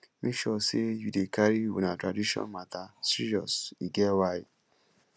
make sure say you dey carry una traditional matters serious e get why